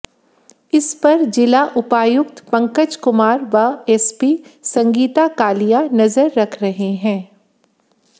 इस पर जिला उपायुक्त पंकज कुमार व एसपी संगीता कालिया नजर रख रहे हैं